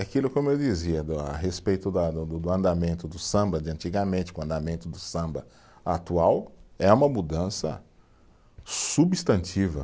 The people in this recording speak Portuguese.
Aquilo, como eu dizia do, a respeito da do do, do andamento do samba de antigamente com o andamento do samba atual, é uma mudança substantiva.